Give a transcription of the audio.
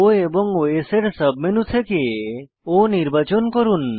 O এবং OS এর submenu থেকে O নির্বাচন করুন